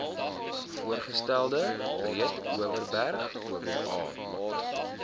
voorgestelde breedeoverberg oba